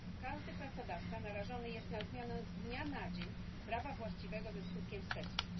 Każdy pracodawca narażony jest na zmianę z dnia na dzień prawa właściwego ze skutkiem wstecznym.